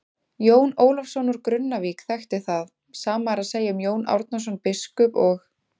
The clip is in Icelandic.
Jón Ólafsson úr Grunnavík þekkti það, sama er að segja um Jón Árnason biskup og.